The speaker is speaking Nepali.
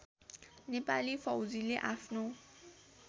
नेपाली फौजीले आफ्नो